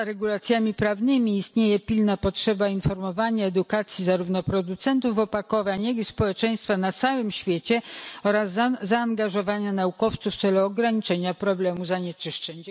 Poza regulacjami prawnymi istnieje pilna potrzeba informowania, edukacji, zarówno producentów opakowań, jak i społeczeństwa na całym świecie, oraz zaangażowania naukowców w celu ograniczenia problemu zanieczyszczeń.